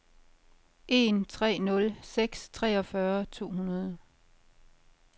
en tre nul seks treogfyrre to hundrede